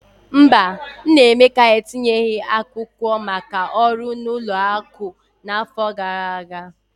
Mba, nna Emeka etinyeghị akwụkwọ maka ọrụ na ụlọ akụ n'afọ gara aga.